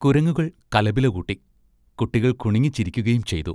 കുരങ്ങുകൾ കലപില കൂട്ടി, കുട്ടികൾ കുണുങ്ങിച്ചിരിക്കുകയുംചെയ്തു.